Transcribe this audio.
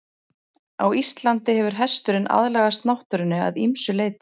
Á Íslandi hefur hesturinn aðlagast náttúrunni að ýmsu leyti.